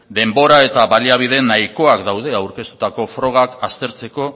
du denbora eta baliabide nahikoak daude aurkeztutako frogak aztertzeko